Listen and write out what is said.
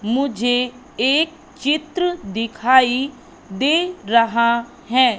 मुझे एक चित्र दिखाई दे रहा है।